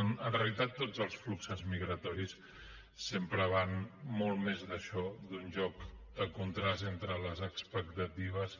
en realitat tots els fluxos migratoris sempre van molt més d’això d’un lloc de contrast entre les expectatives